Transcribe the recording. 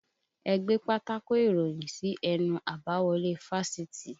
Ẹ gbé pátákò ìròyìn sí ẹnu àbáwọlé fásitì!